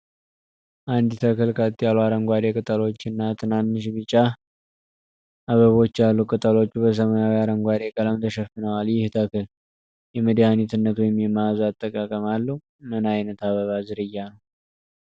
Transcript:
አንድ ተክል ቀጥ ያሉ አረንጓዴ ቅጠሎችና ትናንሽ ቢጫ አበቦች አሉት። ቅጠሎቹ በሰማያዊ-አረንጓዴ ቀለም ተሸፍነዋል። ይህ ተክል የመድኃኒትነት ወይም የመዓዛ አጠቃቀም አለው? ምን ዓይነት የአበባ ዝርያ ነው?